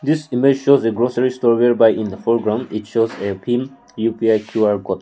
this image shows a grocery store whereby in the foreground it shows a bhim U_P_I Q_R code.